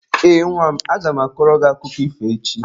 Ee, nwa m. Aga m akọrọ gị akụkọ ifo echi.